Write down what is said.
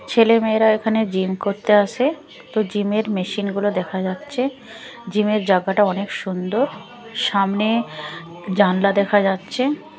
ছেলেমেয়েরা এখানে জিম করতে আসে তো জিম -এর মেশিন -গুলো দেখা যাচ্ছে জিম -এর জাগাটা অনেক সুন্দর সামনে জানলা দেখা যাচ্চে।